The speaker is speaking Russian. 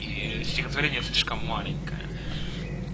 и стихотворение слишком маленькое